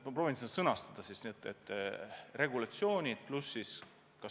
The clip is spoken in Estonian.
Ma proovin vastata, kas see mõjutab konkurentsi.